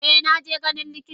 Eh naje ganin likita.